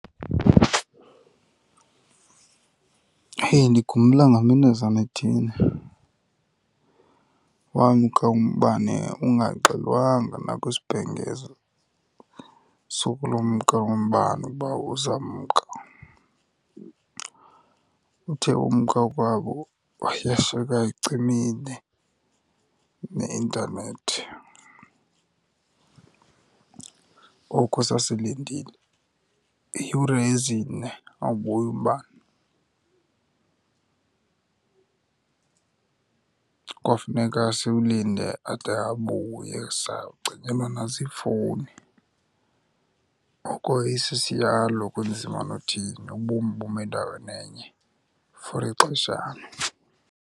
He ndikhumbula ngaminazana ithile wamka umbane ungaxelwanga nakwisibhengezo sokulumka umbane uba uzamka. Uthe umka kwawo yashiyeka icimile neintanethi. Oko sasilindile iiyure ezine awubuyi umbane. Kwafuneka siwulinde ade abuye. Sacinyelwa naziifowuni, oko isisiyalo kunzima nothini, ubomi bume endaweni enye for ixeshana.